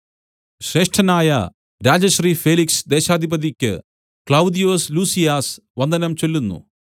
ശ്രേഷ്ഠനായ രാജശ്രീ ഫേലിക്സ് ദേശാധിപതിക്ക് ക്ലൌദ്യൊസ് ലുസിയാസ് വന്ദനം ചൊല്ലുന്നു